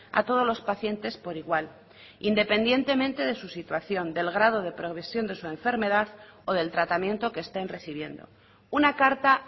a todos los pacientes por igual independientemente de su situación del grado de progresión de su enfermedad o del tratamiento que estén recibiendo una carta